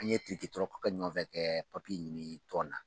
An ye tirikitɔrɔkɛ ɲɔgɔn fɛ kɛ papiye ɲini tɔn na.